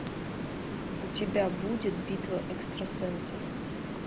у тебя будет битва экстрасенсов